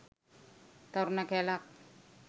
තරුණ කැලක්